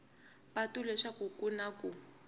patu leswaku ku na ku